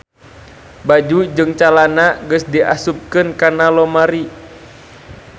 Baju jeung calana geus diasupkeun kana lomari